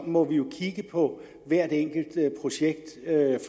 må vi jo kigge på hvert enkelt projekt